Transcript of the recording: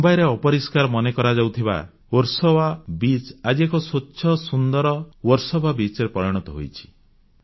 ମୁମ୍ବାଇରେ ଅପରିଷ୍କାର ମନେ କରାଯାଉଥିବା ବର୍ସୋବା ବିଚ୍ ଆଜି ଏକ ସ୍ୱଚ୍ଛ ସୁନ୍ଦର ବର୍ସୋବା ବେଳାଭୂମିରେ ପରିଣତ ହୋଇଛି